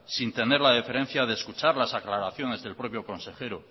sin tener la deferencia de escuchar las aclaraciones del propio consejero